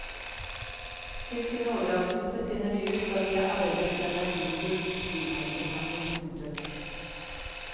Til sin overraskelse finner de ut at de har arvet en verdifull frimerkesamling. punktum